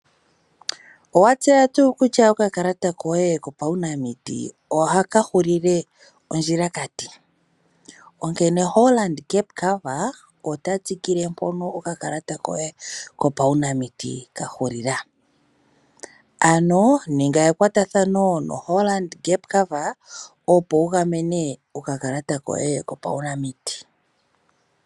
Owatseya tuu kutsha okakalata koye kopawunamiti ohakahulile ondjila kati? Onkene Hollard Gap Cover ota tsikile mpono okakalata koye kapawunamiti kahulila. Ano ninga ekwatathano no Hollard Gap Cover opo wugamene okakalata koye kopawunamiti.